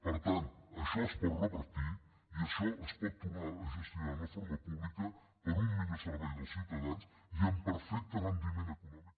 per tant això es pot revertir i això es pot tornar a gestionar d’una forma pública per a un millor servei dels ciutadans i amb perfecte rendiment econòmic